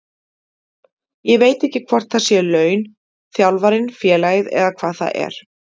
Ég veit ekki hvort það séu laun, þjálfarinn, félagið eða hvað það er.